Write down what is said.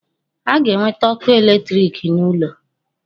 A ga-ewete ọkụ electric n'ụlọ